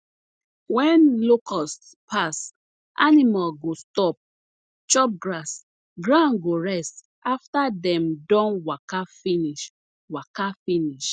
wen locusts pass animals go stop chop grass ground go rest afta dem don waka finish waka finish